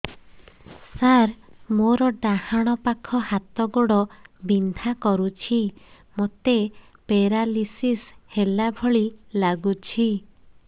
ସାର ମୋର ଡାହାଣ ପାଖ ହାତ ଗୋଡ଼ ବିନ୍ଧା କରୁଛି ମୋତେ ପେରାଲିଶିଶ ହେଲା ଭଳି ଲାଗୁଛି